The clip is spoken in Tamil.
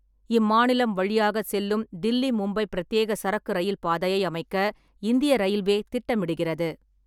இம்மாநிலம் வழியாக செல்லும் தில்லி-மும்பை பிரத்யேக சரக்கு ரயில் பாதையை அமைக்க இந்திய ரயில்வே திட்டமிடுகிறது.